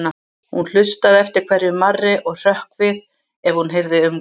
Hún hlustaði eftir hverju marri og hrökk við ef hún heyrði umgang.